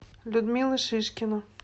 людмила шишкина